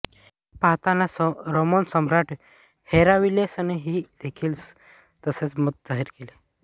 हे पाहताच रोमन सम्राट हेराक्लियसनेही देखील तसेच मत जाहीर केले